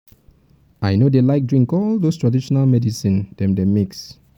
i no dey like drink all those traditional medicine dem dey mix